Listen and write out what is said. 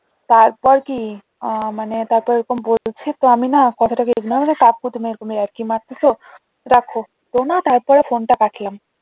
তারপর কি আহ মানে তারপর বলছে তো আমি না মানে কথাটাকে ignore মানে কাকু তুমি এরকম ইয়ার্কি মারতেছ? রাখ তো না তারপর ফোনটা কাটলাম